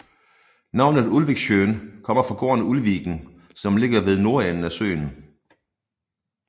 Navnet Ulviksjøen kommer fra gården Ulviken som ligger ved nordenden af søen